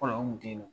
Fɔlɔ an kun tɛ yen nɔ